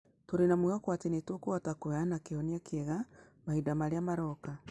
Tũrĩ na mwĩhoko atĩ nĩ tũkũhota kũheana kĩhonia kĩega mahinda marĩa maroka.